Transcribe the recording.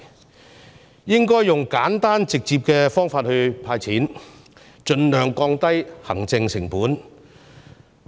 政府應該用簡單直接的方法"派錢"，盡量降低行政成本。